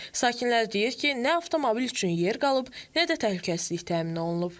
Sakinlər deyir ki, nə avtomobil üçün yer qalıb, nə də təhlükəsizlik təmin olunub.